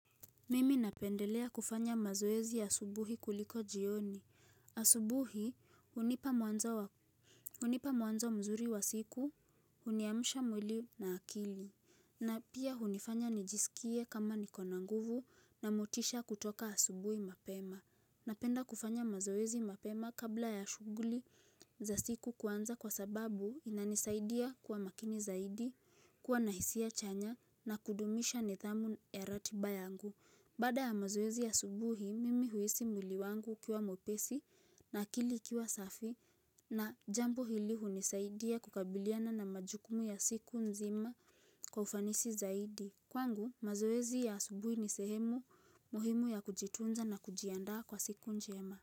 Mimi napendelea kufanya mazoezi ya asubuhi kuliko jioni. Asubuhi, hunipa mwanzo mzuri wa siku, huniamsha mwili na akili. Na pia hunifanya nijisikie kama niko na nguvu na motisha kutoka asubuhi mapema. Napenda kufanya mazoezi mapema kabla ya shughuli za siku kuanza kwa sababu inanisaidia kuwa makini zaidi, kuwa nahisia chanya na kudumisha nidhamu ya ratiba yangu. Baada ya mazoezi ya asubuhi, mimi huisi mwili wangu ukiwa mwepesi na akili ikiwa safi na jambo hili hunisaidia kukabiliana na majukumu ya siku nzima kwa ufanisi zaidi. Kwangu, mazoezi ya asubuhi ni sehemu muhimu ya kujitunza na kujiandaa kwa siku njema.